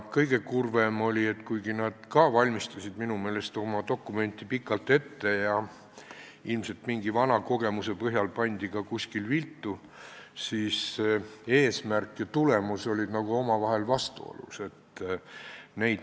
Kõige kurvem oli, et kuigi nad ka valmistasid minu meelest oma dokumenti pikalt ette, ilmselt mingi vana kogemuse põhjal pandi ka kuskil viltu, siis eesmärk ja tulemus olid omavahel vastuolus.